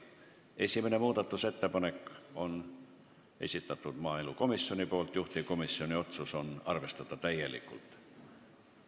Esimene muudatusettepanek on maaelukomisjoni esitatud, juhtivkomisjoni otsus: arvestada täielikult.